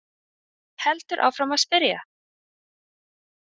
Heldur áfram að spyrja!